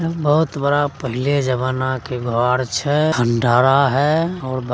बहुत बड़ा पहले जमाना के घर छै खंडहरा हेय --